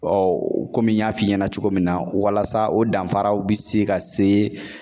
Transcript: kɔmi n y'a f'i ɲɛna cogo min na ,walasa o danfaraw bɛ se ka se